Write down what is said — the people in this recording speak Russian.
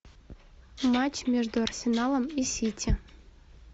матч между арсеналом и сити